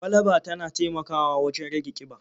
Kwalaba tana taimakawa wajen rage ƙiba.